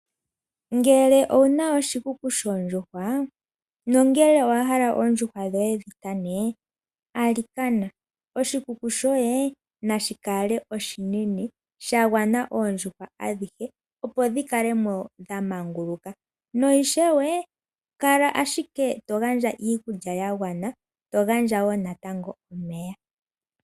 Ngele owu na oshikuku shoondjuhwa, nongele nowa hala oondjuhwa dhoye dhi kane, alikana, oshikuku shoye nashi kale oshinene sha gwana oondjuhwa adhihe opo dhi kale mo dha manguluka. Na ishewe kala ashike to gandja iikulya ya gwana, to gandja natango omeya.